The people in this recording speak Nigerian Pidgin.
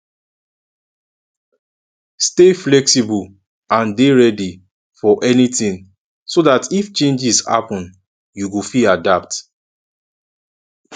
stay flexible and dey ready for anything so dat if changes happen you go fit adapt